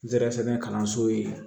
N zɛrɛ sɛbɛn kalanso ye